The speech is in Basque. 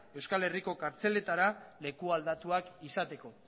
euskal herriko kartzeletara leku aldatuak izateko